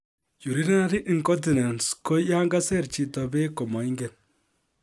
Urinary incontinence ko yankaiser chito bek komangen